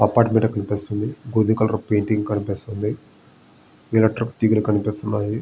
Apartment కనిపిస్తుంది గోధుమ కలర్పె పెయింటింగ్ కనిపిస్తుంది కనిపిస్తున్నాయి.